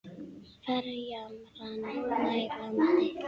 Ferjan rann nær landi.